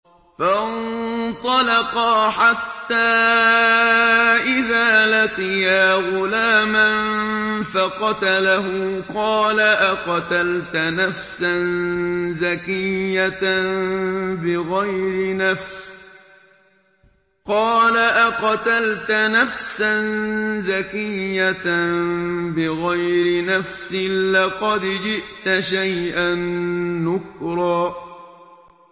فَانطَلَقَا حَتَّىٰ إِذَا لَقِيَا غُلَامًا فَقَتَلَهُ قَالَ أَقَتَلْتَ نَفْسًا زَكِيَّةً بِغَيْرِ نَفْسٍ لَّقَدْ جِئْتَ شَيْئًا نُّكْرًا